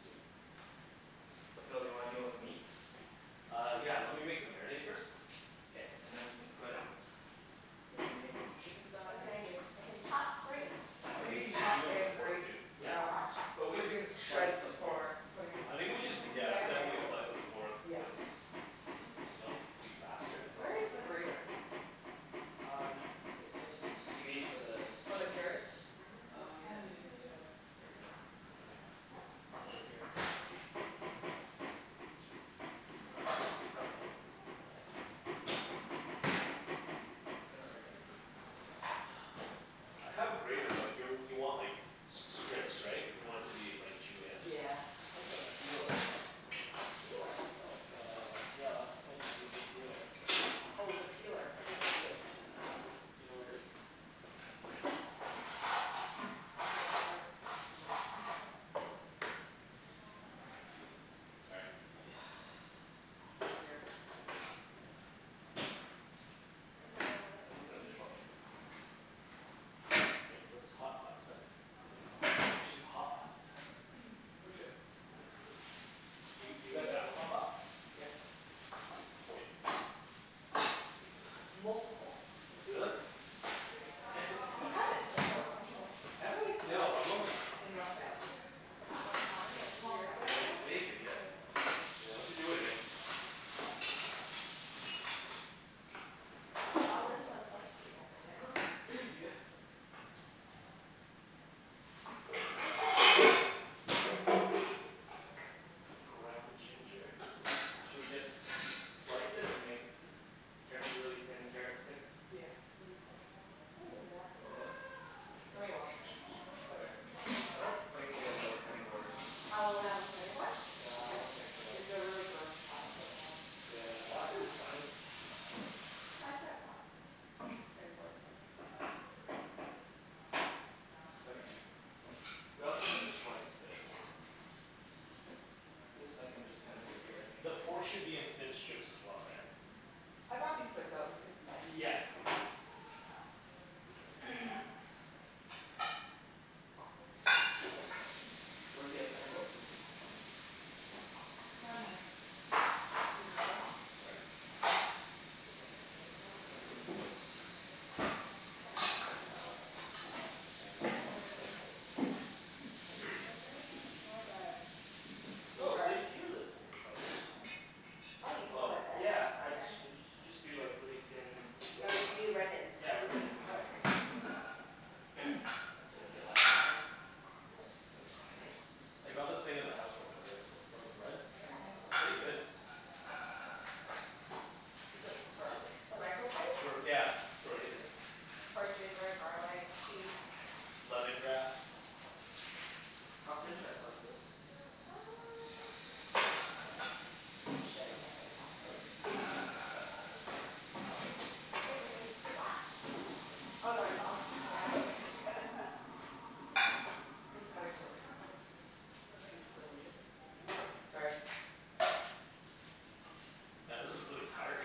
Sweet. So Phil do you wanna to deal with the meats? Uh, yeah. Lemme make the marinade first. K. And then we can put marinade with the chicken What can I thighs. do, I can chop, grate. I think we Maybe need chop do like a and pork grate too. Yeah. um just But we are maybe we can doing slice shreds the pork for putting in I the think we salad should bowl. yeah, definitely slice the pork Yes. cuz Hm That's faster. Where is the grater? Um, you mean for the For the carrots? Oh yeah yeah yeah yeah yeah. Um I think it's over here Isn't it right here? I have a grater but you you want like strips right? You want it to be like julienne? Just, Yeah. just like a peeler. A peeler? Cool. Uh, yeah. Often I just used a peeler. Oh the peeler, right. Do you know where it is? Excuse me Phil. Let's Sorry. see. Not here. Maybe it's in the dishwater. No, that's hotpots stuff. We should do hotpot some time. We should. We did. a hotpot? Yes. Multiple. Really? Mhm. We had it before, weren't you there? Have we? No, I wasn't. In North Van. That one time, like Long years time ago. ago? Maybe, yeah. Yeah we should do it again. We all live so close together now. Yeah. What does it look like? What is this? Ground ginger. Should we just slice it and make carrot really thin carrot sticks? Yeah, what do you think? We can do that, too. Yeah? Lemme Okay. wash it first. Oh there. I don't think we have another cutting board. one cutting board? Yeah I don't think so. It's a really gross plastic one. Okay. Yeah. We don't think you Plastic wanna is use fine. it. I could've brought cutting boards over. Okay. We also need to slice this. Yeah. This I can just kinda do it here I think. The pork should be in thin strips as well, right? I bought these plates so we could use this. Yeah. Where's the other cutting board, Susie? Excuse me Phil Sorry. uh, it's more of like Oh! There Here's the slicers, hm. Oh you peel Oh. with this? Yeah I just you just do like really thin. Yeah you do ribbons. Yeah, ribbons exactly. That's what I That's did the last proper time. term. Oh, it's fine, right? I got this thing as a house warming gift from a friend. Very nice It's pretty good. Is that for garlic? The It's microplate? for yeah, for everything. For ginger, garlic, cheese. Lemongrass. How thin should I slice this? Uh, like we should like that, Okay. right? Like that? Oh. Here's the cutting board, if you still need it. Sorry. Yeah this is really tiring.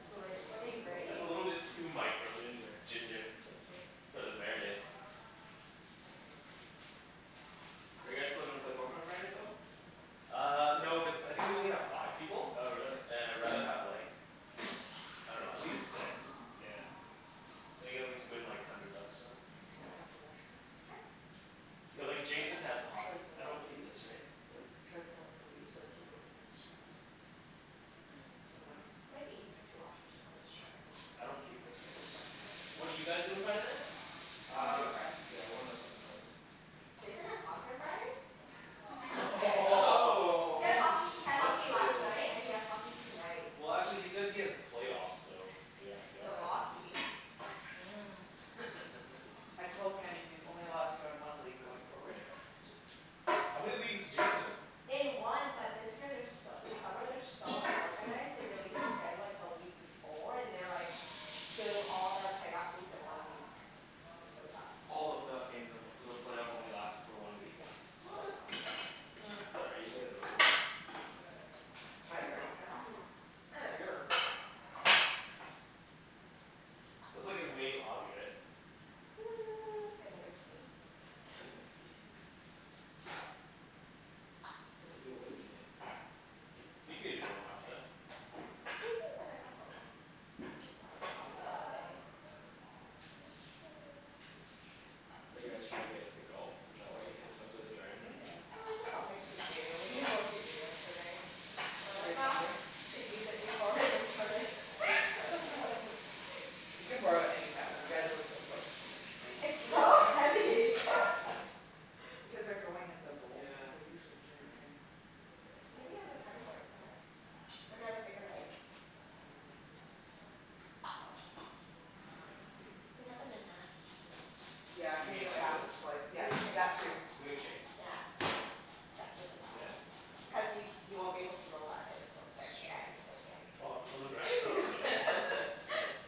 We could switch what are you It's over. a grating? little bit too micro Ginger. ginger. Ginger For the marinade. Are you guys still gonna play Poker on Friday, Phil? Uh, no cuz I think we only have five people. Oh really. And I rather have like, I dunno, at least six. Yeah. So play like hundred bucks or something. We can to wash this? Sure. Cuz like Jason has Should I hockey. pull I out the don't keep leaves? this right? Hm? Should I pull out the leaves or keep it in a strand? Doesn't matter. Up to Doesn't matter? you. Might be easier to wash it just on the strand. I don't keep this right? What did you guys do on Saturday? Went to Uh, a friends. yeah we were at friends house. Jason has hockey on Friday? Oh! He has hockey, he had hockey Busted. last night and he Oh! has hockey tonight. Well actually he said he has playoffs so, yeah I guess Still Alright. so. Um. hockey. Mm. I told Kenny he's only allowed to join one league going forward. How many leagues is Jason in? In one but this year they're so this summer they are so unorganized, they released the schedule like the week before, and they're like doing all the playoff games in one week. It's so dumb All the playoff games in one so the playoff only last for one week? Yeah, so dumb. Um it's alright, you get it over with. It's tiring, how do you I dunno. endure. That's like his main hobby right? Hmm and whiskey. And whiskey. We do a whiskey night. Jason's. Are you guys trying to get into golf? Is that why you guys went to the driving range? Yeah, Yeah. it's just something to do, we didn't know what to do yesterday. Well I Yesterday was thought Sunday? we should use it before we return it. You can borrow it anytime. You guys live so close. It's so Like heavy! this? Because they're growing in the bowls, Yeah. they're usually That's very thin. right. Maybe on the cutting board it's better. Or do you have a bigger knife? Mmm You can cut them in half. Yeah? Yeah You mean the like half this? slice yeah, Moon shape. that too. Moon shape. Yeah. Yeah just like Yeah? that. Okay. I'll do Cuz you that. you won't be able to roll that if it's so That's thick yeah it's so true. thick. Wow I was a little. Nice.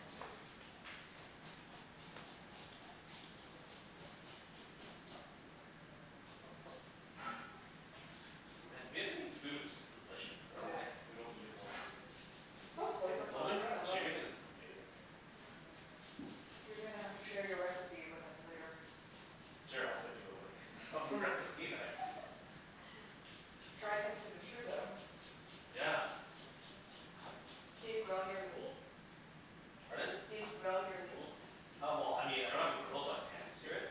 And Vietnamese food is just delicious. I It dunno is. why we don't eat it more often. It's so flavorful, I Lemongrass love it. chicken is amazing. You're gonna have to share your recipe with us later. Sure, I'll send you the link. Try test it. Yeah. Do you grill your meat? Pardon? Do you grill your meat? Uh well I mean I don't have a grill but pan-sear it.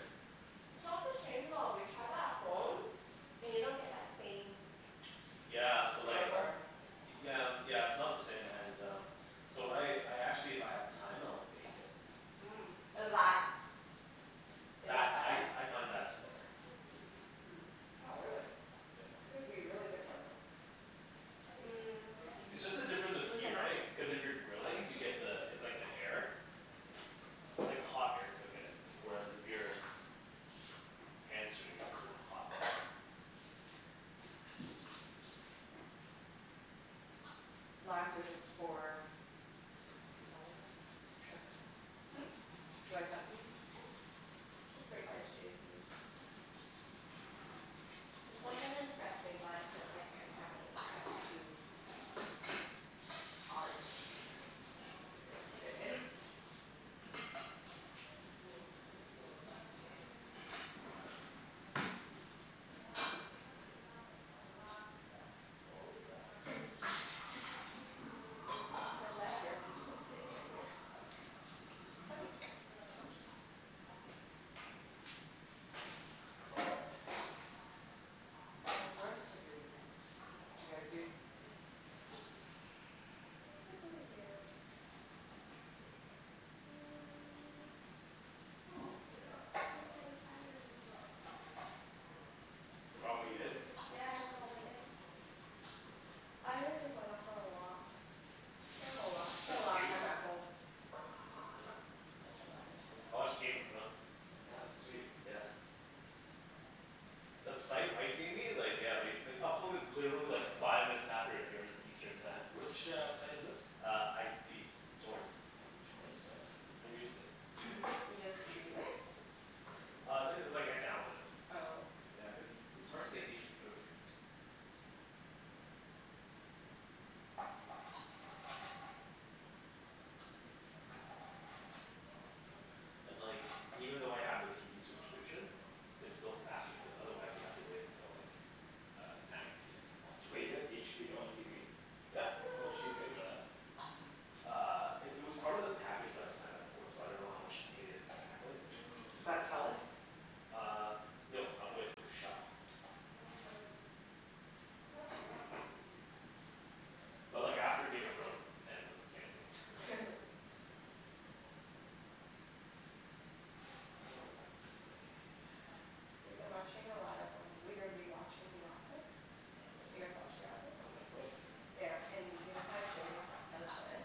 It's not the same though, we tried that at home, and you don't get that same Yeah The so like charcoal? flavor Yeah, yeah it's not the same and um, so when I I actually if I have time I'll bake it. Mhm, is that is That, that I better? I find that's better. Hmm. Oh really? Yeah. Would be really different though. Mm. It's just the Is difference of this heat enough? right? Cuz if you're I grilling think you so. get the it's like the air. It's like hot air cookin it. Where as if you're pan-searing it, it's a hot pan. Limes are just for the salad bowl? Should I cut them? Hm? Should I cut these? Sure. Mhm. Cuz that kinda dressing but since I can't have anything that's too. put it in. All right. The left earpiece won't stay in my ear. Excuse me. Okay. How's the rest of your weekend? What d'you guys do? What did we do? Hmm. What did we do on Saturday? Forgot what you did? Yeah I don't remember what I did. I really just went out for a walk, spent a lot spent a lot of time at home. time I watched Game of at Thrones. home. That was sweet. Yeah. That site Mike gave me like yeah they they upload in literally like five minutes after it airs Eastern time. Which, uh, site is this? Uh, IP torrents. IP torrents? No, Yeah. no, never used it. You just stream it? Uh, it like I download it. Oh. Yeah, cuz it's hard to get HBO here. And like even though I have the TV subscription, it's still faster cuz otherwise you have to wait until like uh nine PM to watch Wait it. you have HBO on TV? Yeah. How much do you pay for that? Uh, it it was part of the package that I signed up for so I dunno how much it is exactly. It's Is Mmm. part of that the plan. Telus? Uh, no I'm with Shaw. But like after Game of Thrones ends, I'm canceling it. Oh, let's see We've been watching a lot of um, we've been rewatching The Office. Do you guys Nice. watch The Office? On Netflix? Yeah. Yeah, and you know how Jimmy g- does this?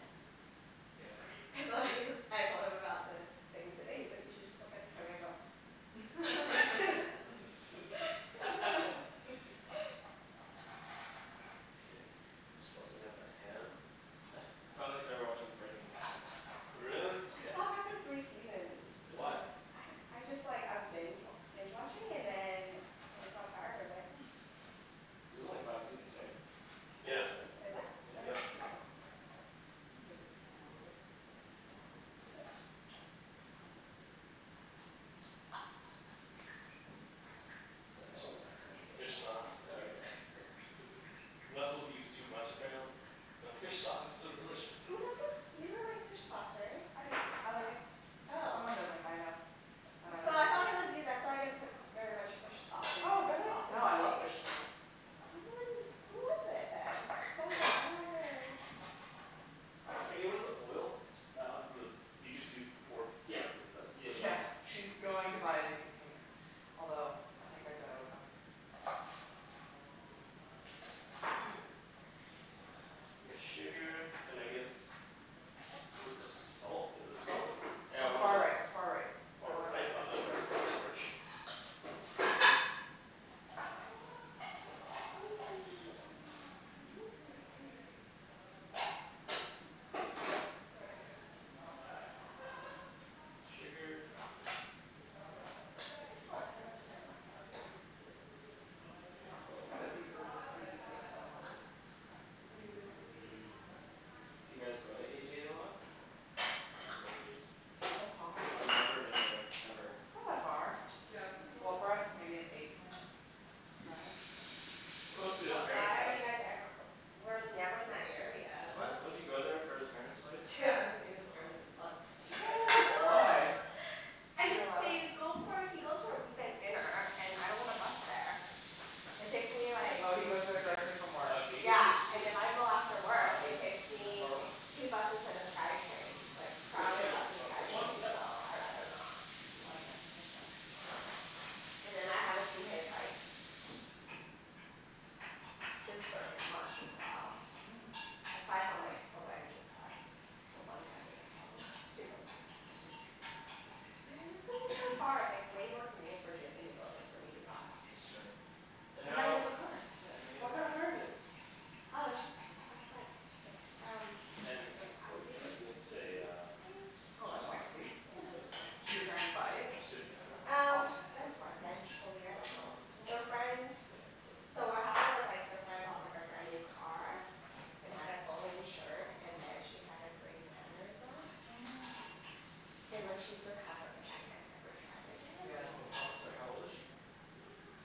Yeah? So I just, I told him about this thing today, he's like, "You should just look at the camera and go" Okay. Saucing up the ham I finally started watching Breaking Bad Really? I Yeah. stopped after three seasons. Why? Really? I don't, I just like, I was binge wa- binge watching, and then I just got tired of it. There's only five seasons, right? Oops! Yeah. Is it? I thought it was Yep. seven. I'll put this all in one plate, with the mint and lime. Um. The It's hell is that f- fish sauce. Oh, okay. You're not supposed to use too much, apparently. But fish sauce is so delicious. Who doesn't, you don't like fish sauce, right? I do, I like it. Oh. Someone doesn't, I know. I dunno So I who it is. thought it was you. That's why I didn't put very much fish sauce in Oh the really? sauces No I I love made. fish sauce. Someone, who was it then? Someone was like, I don't like it. Kenny, where's the oil? Do you just use pour f- Yeah directly from this? yeah yeah. Yeah, she's going to buy a new container, although I think I said I would buy it for her. Bit of sugar, and I guess, where's the salt, is this salt? Yeah, one of Far those right far right, the Far one right? that's Oh on no, that's corn starch. Need sugar. Why I cannot take that Mhm. Yeah, it's quite a We can lot put these herby things on one plate. Maybe we don't need to put the turnip. Do you guys go to Eighty eight a lot? To buy groceries? So far. I've never been there, ever. It's not that far. Well, for us maybe an eight minute drive. It's close to his But parents' why are house. you guys ever- w- we're never in that area. What? Don't you go there for his parents' place? Yeah, I haven't seen his parents in months. Why? What? I You're just allowed didn't go for, he goes for a weeknight dinner, and I don't wanna bus there. It takes me like Oh he goes there directly from work. Uh, can you give me a Yeah, and spoon? if I go after Uh, work it's it takes that me far one two buses and the Skytrain, like No, just like crowded a, bus and uh this one? Skytrain, Yep. so I rather not. Oh yeah, makes sense. And then I haven't seen his like, sister in months as well Mm. Aside from like the wedding and stuff. The one wedding I saw them, a few months ago. I see. Yeah, it's cuz they're so far. It's like way more convenient for Jason to go than for me to bus. That's true. But But now you now have a car! Yeah, now you have a What kind car. of car is it? Oh, it's just our friend, it's um Ken, like an you- can I Audi get a SUV, uh I Oh soy that's sauce? think? fancy. Soy Did sauce? your parents buy it, I assume you have that? Um, off the friend? eventually, I Uh, dunno. this Their one? friend, Okay, so what perfect. happened was like their friend bought like a brand new car, and had it fully insured and then she had a brain aneurysm. Oh no. And like she's recovered but she can't ever drive again. Yeah that's Oh how, sorry, how old is she?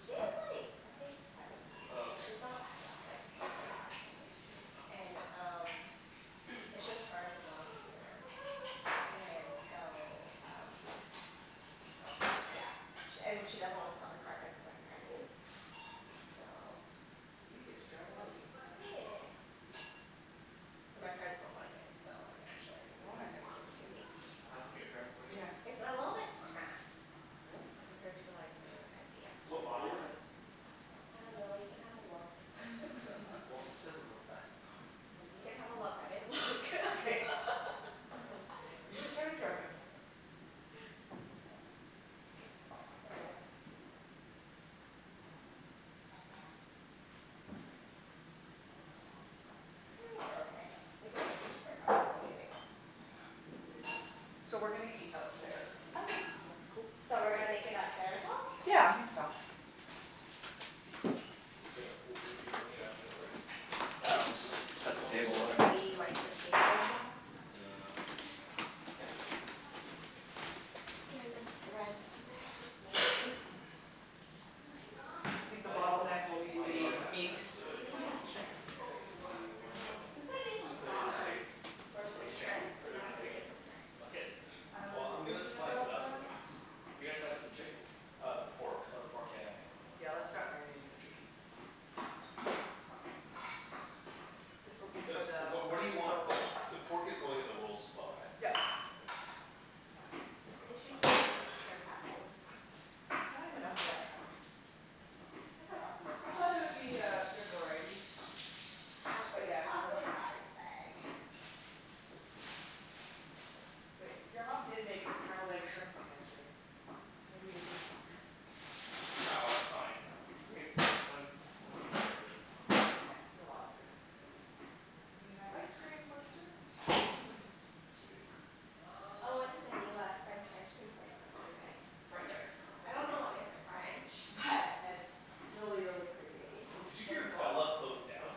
She's like, I think seventy. Oh So okay. she's not that young, like sixty five, seventy? Yeah. And um, it's just her and her mom here, and so um yeah. She and she doesn't want to sell her car cuz it's like brand new. So. So you get to drive an Audi, nice. Yeah. And my parents don't like it so eventually I think they're Why? just gonna give it to me. Why don't your parents like it? Yeah. It's a little bit cramped. Really? Compared to like their MDX Yeah What right model is MDX it? now. is big. I dunno you can have a look Well, it says on the back of car. Well, you can have a look I didn't look Okay. You just started driving. So yeah. Ah these are fancy. Are these too long? Nope, I they're good. think they're okay. We can always just break up the bone when we make'em. Yeah. So we're gonna eat out there Okay. If that's cool? So we're gonna make it out there as well? Yeah, I think so. Wait, w- we're, you're bringing it out there already? Yo, Yeah, we'll do we just want, do we set the want the table, pork? whatever. Should we wipe the table a bit? Uh Yes. Random threads on there. I think the Might not, bottleneck will be Do you might need not the a have time meat. for the chicken, yeah. Do you wanna We could've made some just put it in a big, prawns or some big thing, right? shrimp, Put and it in a that's like big way quicker. bucket? I was Well, I'm gonna thinking slice it about up that. though. You're gonna slice up the chicken? Uh the pork. Oh the pork, yeah Yeah, yeah let's yeah. start marinating the chicken. This will be Cuz for the what, what do you want, paper the rolls. the pork is going in the rolls as well right? Yup. Okay. I usually just use shrimp at home. I don't even know if they have shrimp. I could've brought some over. I thought there would be a good variety. But yeah, no Costco shrimp. size bag. Wait, your mom did make a scrambled egg shrimp thing yesterday. Maybe we did have some shrimp. No, it's fine. We Okay. have, we got tons, tons of meat already. Yeah it's a lot of food. We have ice cream for dessert. Sweet. I went to the new uh, French ice cream place yesterday. French icecream, what's I that? dunno what makes it French, but it's really really creamy. Did you What's hear it called? Bella closed down?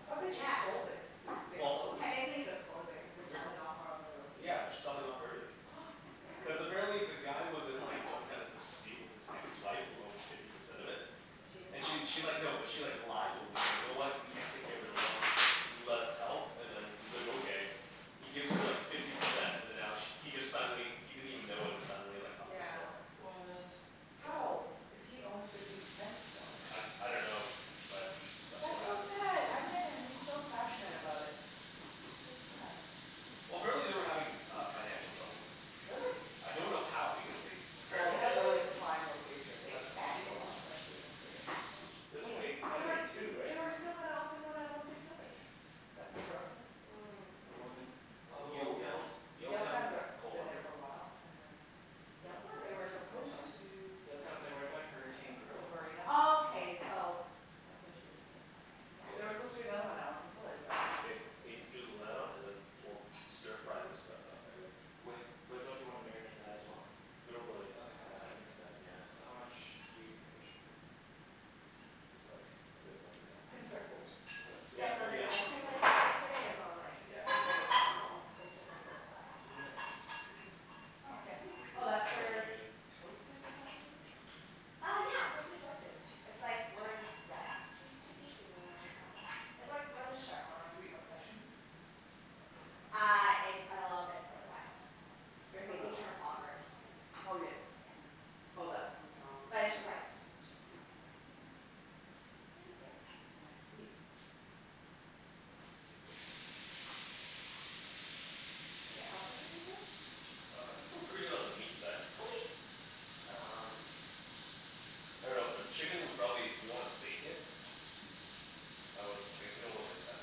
I thought they just Yeah. sold it. They they Well. closed? Technically they're closing cuz they're selling off four of their Yeah, they're locations. selling off everything. Yeah. No Cuz way. apparently the guy was in like some kind of dispute with his ex-wife who owned fifty percent of it. And she And she decides to she sell like, it? no, but she like, lied to him. She's like, "You know what, you can't take care of the it alone, let us help" and then he's like, "Okay." He gives her like fifty percent and then now sh- he just suddenly he didn't even know when it's suddenly like up for Yeah. sale. What? How! If he owns fifty percent still. I, I dunno, but that's what That's so happened. sad! I met him he's so passionate about it. That's sad. Well, apparently they were having uh financial troubles. Really? I don't know how because they Well they apparently Maybe have really prime locations they so it's cost a expanded too lot. quickly, too. There's only, how They were many, two, right? they were still gonna open one at Olympic village that never opened. Mm. The one in, oh yes Yaletown, Yaletown, Yaletown, they're, coal been there harbour. for a while and then Yaletown, They really? were supposed to do Yaletown, it's like right by Hurricane The Grill marina. Oh, okay so that's what she mean by it, okay, There were supposed to be yeah. another one out in Olympic Village but Ken, it can you drew the light on and then was we'll stir fry this stuff up I guess. With, but don't you wanna marinate that as well? We don't really Ok, have have that time right? much time yeah. So how much do you think I should put in? Just like a bit more than half, We can like three start grilling. quarters. Like Yeah, Yeah, so this this? ice let's cream keep place we it. went to yesterday is on like Yeah. sixteenth and Macdonald. It's really close by. Sixteenth avenue, oh okay. Oh It that's Mhm. smells where really good. Choices or something was? Uh yeah! Close to Choices. It's like where Zest used to be, you know where that is? It's where where the Chevron Sweet Obsessions? Uh, it's a little bit further west. You're Further thinking west. Trafalgar and sixteenth. Oh yes, mhm. Yeah. Oh that But to it's the just like, west. just. It's pretty good. I see. Can I help with anything? Uh, I think we're pretty good on the meat side. Okay! Um, I dunno for the chicken we probably, do we wanna bake it? I w- I guess we don't really have time.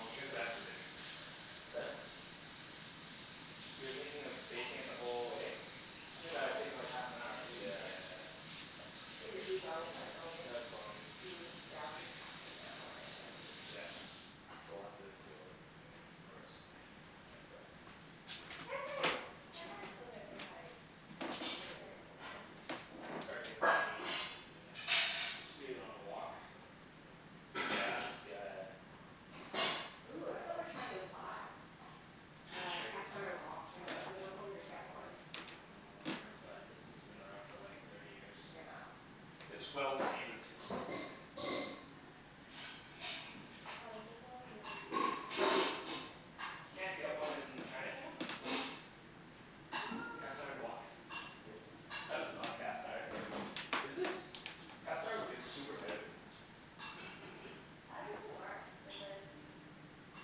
You guys can have it for dinner. You're thinking of baking it the whole way? I think that would take like half an hour at Yeah, least, right? yeah, yeah. Is it deboned or bone-in? No, it's bone-in. Hm, yeah, it'll take half an hour, I think. Yeah. So we'll have to grill it first. Pan pan-fry it. pan-frying it, pan-frying it's still gonna take like twenty minutes, I dunno. I can start doing that right now. Yeah. Just do it on a wok. Yeah, yeah, yeah. Ooh, that's what we were trying to buy. Uh cast Chinese iron Oh wok? wok. We're not, we dunno where to really? get one. Well, I dunno where my parents got it. This has been around for like thirty years. Yeah. It's well-seasoned. Ah, this is so yummy. You can't get one in Chinatown? Uh. A cast iron wok? That is not cast iron. Is it? Cast iron would be super heavy. How's this thing work? Is this